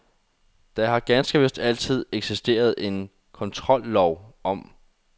Der har ganske vist altid eksisteret en kontrollov om